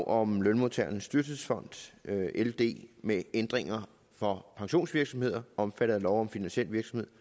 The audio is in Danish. om lønmodtagernes dyrtidsfond ld med ændringer for pensionsvirksomheder omfattet af lov om finansiel virksomhed